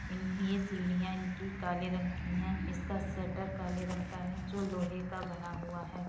इन ये सीढ़िया इनकी काले रंग की हैं। इसका शटर काले रंग का है जो लोहे का बना हुआ है।